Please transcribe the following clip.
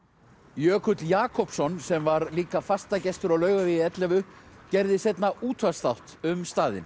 Jökull Jakobsson sem var líka fastagestur á Laugavegi ellefu gerði seinna útvarpsþátt um staðinn